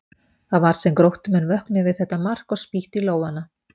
Það var sem Gróttumenn vöknuðu við þetta mark og spýttu í lófana.